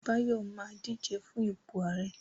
Báyọ̀ ma díje fún ipò ààrẹ́